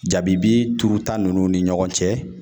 Jabibi turu ta nunnu ni ɲɔgɔn cɛ